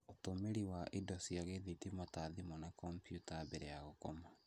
Ũtũmĩri wa indo cia gĩthitima ta thimũ na kompiuta mbere ya gũkoma